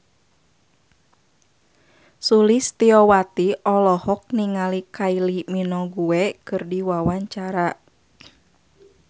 Sulistyowati olohok ningali Kylie Minogue keur diwawancara